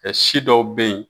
si dɔw bɛ ye